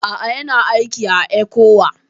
A'a, Yana aiki a ECWA